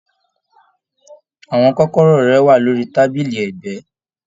Àwọn kọ́kọ́rọ́ rẹ wà lórí tábìlì ẹgbẹ.